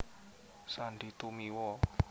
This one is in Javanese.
Sandy Tumiwa